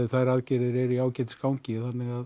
þær aðgerðir eru í ágætis gangi